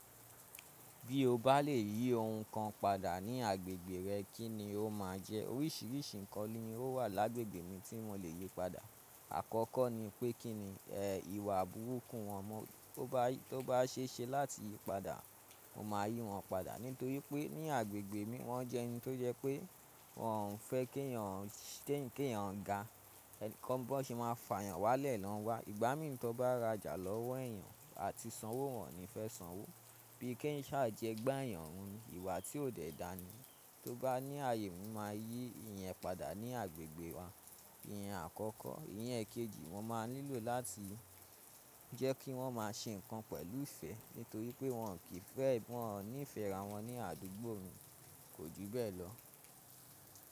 Bí o bá lè yí ohun kan padà ní agbègbè rẹ, kí ni o máa jẹ́? Oríṣiríṣi ǹkan ni ó wà lágbègbè mi tí mo lè yí padà. Àkọ́kọ́ ni pé kí ni, ẹ, ìwà bùrúkù wọn mọ́, tó bá, tó bá ṣe ṣe láti yí padà, mo máa yí wọn padà. Nítorí pé ní agbègbè mi wọ́n jẹ́ ẹni tó jẹ́ pé wọ́n ò fẹ́ kí èèyàn, kí èèyàn ga, ẹni tí wọn bá ṣe máa fà yàn wálẹ̀ lọ́n wa, ìgbámí ni tọ bá ra jà lọ́wọ́ èèyàn àti sanwó, wọn ni fẹ́ sanwó. Bíi kí ń ṣáá jẹ gba èèyàn, run ni ìwà tí ò ṣe é dáni tó bá ní àyè, n ó máa yí ìyẹn padà ní agbègbè wa. Ìyẹn akọkọ, ìyẹn ekeji mo máà nílò làti jẹ ki wọn maa ṣe nkan pẹ̀lú ìfẹ́ nítorí pé wọn n'ifẹ ará wọn ni àdúgbò mí, ko ju bẹ́ẹ̀ lọ.